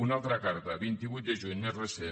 una altra carta vint vuit de juny més recent